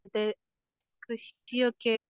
ത്തെ കൃഷിയൊക്കെ?